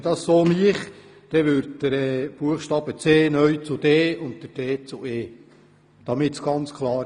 Würde diese hier übernommen, würde der Buchstabe c neu zu Buchstabe d und der Buchstabe d neu zu Buchstabe e. Damit ist es ganz klar.